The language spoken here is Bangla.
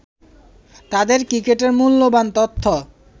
তাদের ক্রিকেটের মূল্যবান তথ্য